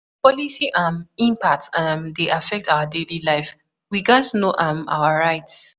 Policy um impacts um dey affect our daily life; we gatz know um our rights.